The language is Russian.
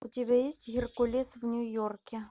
у тебя есть геркулес в нью йорке